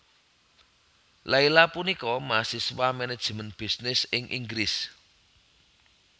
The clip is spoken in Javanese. Leila punika mahasiswa manajemen bisnis ing Inggris